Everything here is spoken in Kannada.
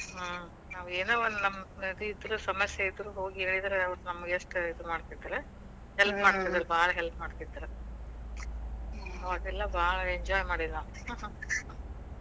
ಹ್ಮ್. ನಾವೇನೋ ಒಂದ್ ನಮಗ್ ಇದು ಇದ್ರು ಸಮಸ್ಯೆ ಇದ್ರು ಹೋಗಿ ಹೇಳಿದ್ರ ಅವರ ನಮ್ಗ ಎಷ್ಟ ಇದಿನ್ ಮಾಡ್ತಿದ್ರ. Help ಮಾಡ್ತೀದ್ರ ಭಾಳ್ help . ಮಾಡ್ತೀದ್ರ ಮಾಡೇವಿ ನಾವ್ ಅವಾಗೆಲ್ಲಾ ಭಾಳ್ enjoy ಮಾಡೇವಿ ನಾವ್ .